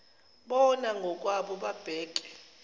bona ngokwabo babheke